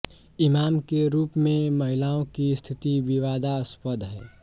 इमाम के रूप में महिलाओं की स्थिति विवादास्पद है